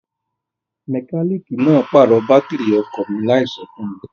Mẹkálíìkì náà pàrọ̀ bátìrì ọkọ̀ mi láìso fún mi.